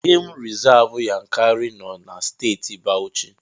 Gemụ rizavụ Yankari nọ na Steeti Bawuchi.